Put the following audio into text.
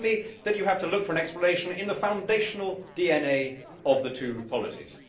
It seems to be that you have to look for an explanation in the foundational DNA of the two polities.